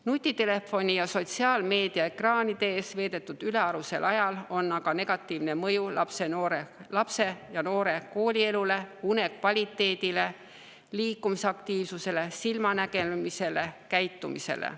Nutitelefoni ja sotsiaalmeedia ekraanide ees veedetud ülearusel ajal on aga negatiivne mõju lapse ja noore koolielule, une kvaliteedile, liikumisaktiivsusele, silmanägemisele, käitumisele.